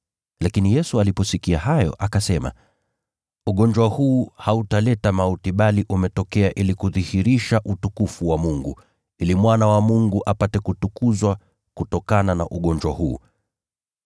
Lakini Yesu aliposikia hayo, akasema, “Ugonjwa huu hautaleta mauti bali umetokea ili kudhihirisha utukufu wa Mungu, ili Mwana wa Mungu apate kutukuzwa kutokana na ugonjwa huu.”